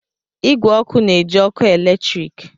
Igwe ọkụ na-eji ọkụ eletrik